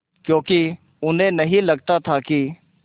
क्योंकि उन्हें नहीं लगता था कि